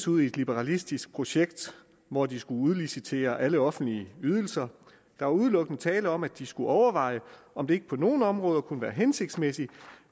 ud i et liberalistisk projekt hvor de skulle udlicitere alle offentlige ydelser der var udelukkende tale om at de skulle overveje om det ikke på nogle områder at kunne være hensigtsmæssigt